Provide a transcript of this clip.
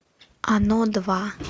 оно два